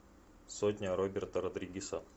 сотня роберта родригеса